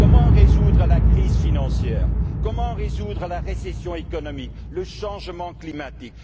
Comment résoudre la crise financière, comment résoudre la récession économique, le changement climatique?